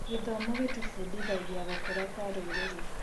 Gĩthomo gĩtũbundithagia gũkũra kwa rũrĩrĩ.